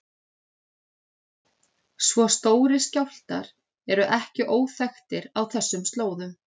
Svo stórir skjálftar eru ekki óþekktir á þessum slóðum.